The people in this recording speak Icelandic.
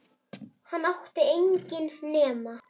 Hann átti enginn nema